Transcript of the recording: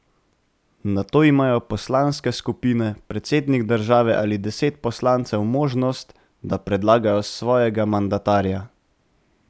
Nato imajo poslanske skupine, predsednik države ali deset poslancev možnost, da predlagajo svojega mandatarja.